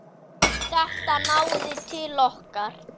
Þetta náði til okkar.